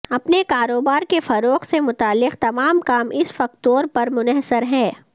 اپنے کاروبار کے فروغ سے متعلق تمام کام اس فکتور پر منحصر ہے